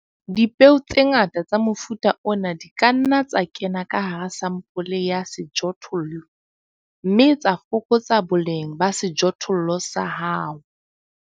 Dipeo tse ngata tsa mofuta ona di ka nna tsa kena ka hara sampole ya sejothollo, mme tsa fokotsa boleng ba sejothollo sa hao.